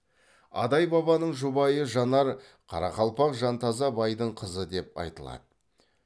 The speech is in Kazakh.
адай бабаның жұбайы жанар қарақалпақ жантаза байдың қызы деп айтылады